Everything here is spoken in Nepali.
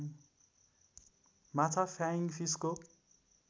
माछा फ्याइङ फिसको